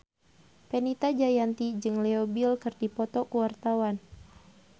Fenita Jayanti jeung Leo Bill keur dipoto ku wartawan